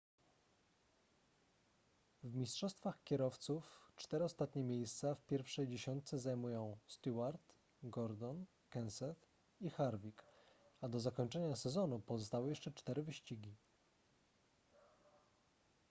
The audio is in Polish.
w mistrzostwach kierowców cztery ostatnie miejsca w pierwszej dziesiątce zajmują stewart gordon kenseth i harvick a do zakończenia sezonu pozostały jeszcze cztery wyścigi